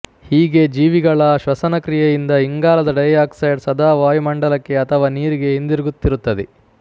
ಹೀಗೆ ಜೀವಿಗಳ ಶ್ವಸನ ಕ್ರಿಯೆಯಿಂದ ಇಂಗಾಲದ ಡೈ ಆಕ್ಸೈಡ್ ಸದಾ ವಾಯುಮಂಡಲಕ್ಕೆ ಅಥವಾ ನೀರಿಗೆ ಹಿಂತಿರುಗುತ್ತಿರುತ್ತದೆ